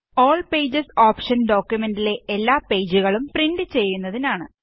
all pages ഓപ്ഷന് ഡോക്കുമെന്റിലെ എല്ലാ പേജുകളും പ്രിന്റ് ചെയ്യുന്നതിനാണ്